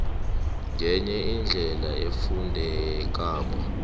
ngenye indlela efundekako